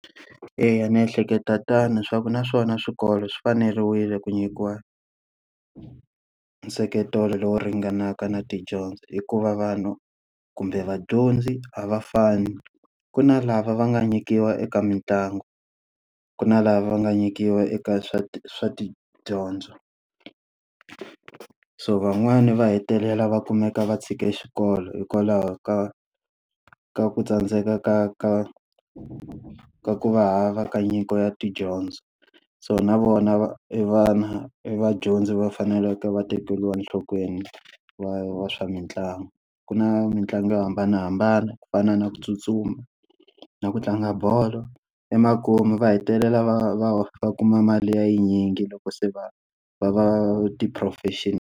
Eya ni ehleketa tano swa ku naswona swikolo swi faneriwile ku nyikiwa nseketelo lowu ringanaka na tidyondzo hikuva vanhu, kumbe vadyondzi a va fani. Ku na lava va nga nyikiwa eka mitlangu, ku na lava va nga nyikiwa eka swa swa tidyondzo. So van'wani va hetelela va kumeka va tshike xikolo hikwalaho ka ka ku tsandzeka ka ka ka ku va hava ka nyiko ya tidyondzo. So na vona va i vana, i vadyondzi va faneleke va tekeriwa enhlokweni, va va swa mitlangu. Ku na mitlangu yo hambanahambana ku fana na ku tsutsuma, na ku tlanga bolo, emakumu va hetelela va va va kuma mali ya yi nyingi loko se va va va ti-professional.